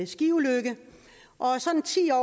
skiulykke